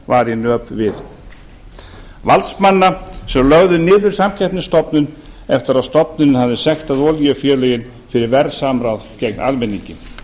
var í nöp við valdsmanna sem lögðu niður samkeppnisstofnun eftir að stofnunin hafði sektað olíufélögin fyrir verðsamráð gegn almenningi